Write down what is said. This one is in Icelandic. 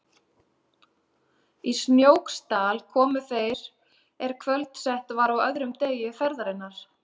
Í Snóksdal komu þeir er kvöldsett var á öðrum degi ferðarinnar.